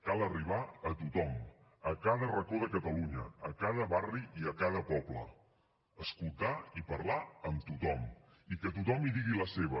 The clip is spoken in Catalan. cal arribar a tothom a cada racó de catalunya a cada barri i a cada poble escoltar i parlar amb tothom i que tothom hi digui la seva